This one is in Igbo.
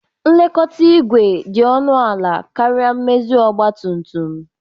Nlekọta igwe dị ọnụ ala karịa mmezi ọgba tum tum